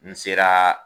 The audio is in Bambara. N sera